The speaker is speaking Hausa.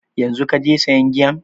Yanzu kaje sayan giyan?